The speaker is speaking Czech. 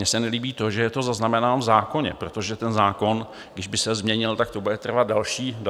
Mně se nelíbí to, že je to zaznamenáno v zákoně, protože ten zákon, když by se změnil, tak to bude trvat další léta.